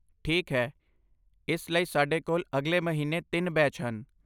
ਠੀਕ ਹੈ ਇਸ ਲਈ ਸਾਡੇ ਕੋਲ ਅਗਲੇ ਮਹੀਨੇ ਤਿੰਨ ਬੈਚ ਹਨ